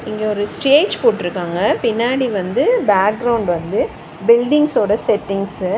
இங்க ஒரு ஸ்டேஜ் போட்ருக்காங்க பின்னாடி வந்து பேக்ரவுண்ட் வந்து பில்டிங்ஸ் ஓட செட்டிங்ஸ்ஸு .